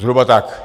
Zhruba tak.